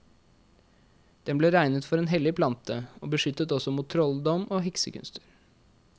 Den ble regnet for en hellig plante, og beskyttet også mot trolldom og heksekunster.